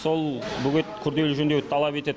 сол бөгет күрделі жөндеуді талап етеді